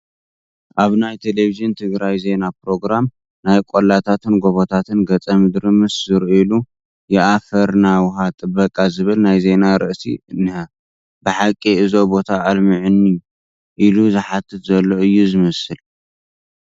ኣብ ናይ ቴለብዥን ትግራይ ዜና ፕሮግራም ናይ ቆላታትን ገቦታትን ገፀ ምድሪ ምስ ዝርአዩሉ የአፈርና ውሃ ጥበቃ ዝብል ናይ ዜና ርእሲ እኒሀ፡፡ ብሓቂ እዞ ቦታ ኣልምዑኒ ኢሉ ዝሓትት ዘሎ እዩ ዝመስል፡፡